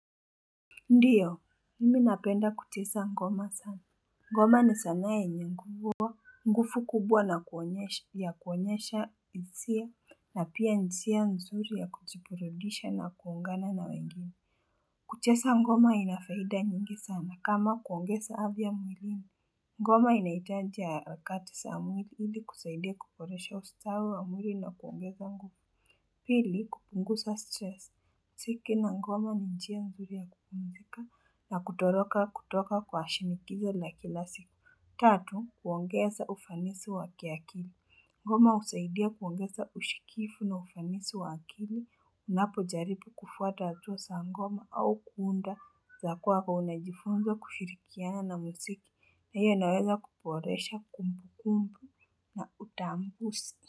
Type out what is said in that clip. Ndiyo mimi napenda kucheza ngoma sana ngoma ni sanaa yenye nguvu kubwa na kuonyesha hisia na pia ni njia nzuri ya kujiburidisha na kuungana na wengine kucheza ngoma ina faida nyingi sana kama kuongeza afya mwilini ngoma inahitaji harakati za mwili ili kusaidia kuboresha ustawi wa mwili na kuongeza nguvu. Pili kupunguza stress. Muziki na ngoma ni njia nzuri ya kpumzika na kutoroka kutoka kwa shinikizo la kila siku. Tatu, kuongeza ufanisi wa kiakili. Ngoma husaidia kuongeza ushikifu na ufanisi wa akili. Unapojaribu kufuata hatua za ngoma au kuunda za kwako unajifunza kushirikiana na muziki. Na hiyo inaweza kuboresha kumbukumbu na utambuzi.